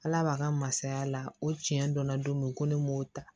Ala b'a ka masaya la o tiɲɛ donna don min ko ne m'o ta